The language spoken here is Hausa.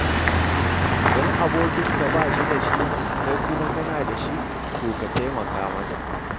Idan abokinka ba shi da shi, kai kuma kana da shi, to ka taimaka masa.